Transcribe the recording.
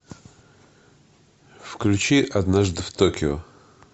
включи однажды в токио